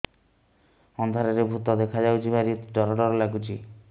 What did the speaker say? ଅନ୍ଧାରରେ ଭୂତ ଦେଖା ଯାଉଛି ଭାରି ଡର ଡର ଲଗୁଛି